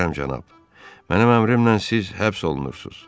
Möhtərəm cənab, mənim əmrimlə siz həbs olunursunuz.